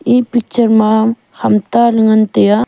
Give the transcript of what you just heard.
e picture ma ham ta ley ngai tai a.